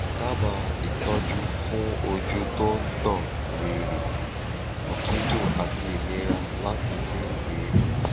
dábàá ìtọ́jú fún ojú tó ń gbọ̀n rìrì òtútù àti ìnira láti mí èémí